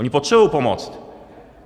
Oni potřebují pomoc.